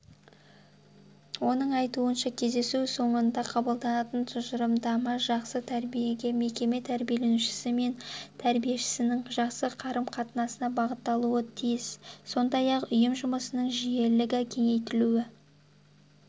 оның айтуынша кездесу соңында қабылданатын тұжырымдама жақсы тәрбиеге мекеме тәрбиеленушісі мен тәрбиешісінің жақсы қарым-қатынасына бағытталуы тиіс сондай-ақ ұйым жұмысының жүйелігі кеңейтілуі